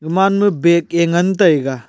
kumaan ma bag ke ngan taiga.